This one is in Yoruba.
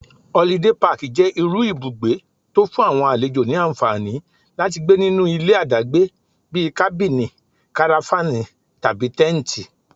Holiday Park jẹ́ irú ibùgbé tó'fún àwọn àlejò ní ànfàní láti gbé nínú ilé àdágbé bíi Kábìnì, Karafánì, tàbí Tẹ́ǹtì.